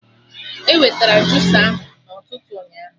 E wetara jusa ahụ na ụtụtụ ụnyaahụ